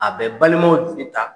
A bɛ balimaw jigi ta.